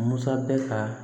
Musa bɛ ka